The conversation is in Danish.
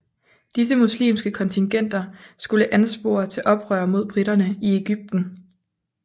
Disse muslimske kontingenter skulle anspore til oprør mod briterne i Egypten